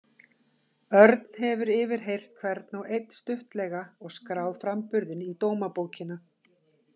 Örn hefur yfirheyrt hvern og einn stuttlega og skráð framburðinn í dómabókina.